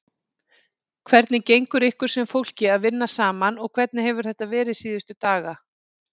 Hvernig gengur ykkur sem fólki að vinna saman og hvernig hefur þetta verið síðustu daga?